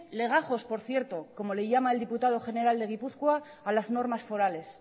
legajos por cierto como le llama el diputado foral de gipuzkoa a las normas forales